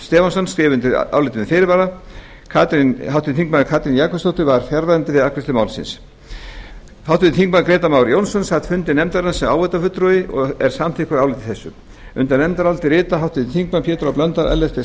stefánsson skrifa undir álitið með fyrirvara háttvirtur þingmaður katrín jakobsdóttir var fjarverandi við afgreiðslu málsins háttvirtir þingmenn grétar mar jónsson sat fundi nefndarinnar sem áheyrnarfulltrúi og er samþykkur áliti þessu undir nefndarálitið rita háttvirtir þingmenn pétur h blöndal ellert b